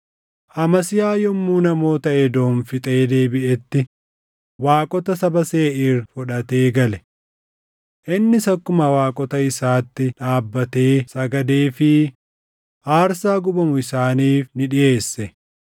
Amasiyaa yommuu namoota Edoom fixee deebiʼetti waaqota saba Seeʼiir fudhatee gale. Innis akkuma waaqota isaatti dhaabbatee sagadeefii aarsaa gubamu isaaniif ni dhiʼeesse.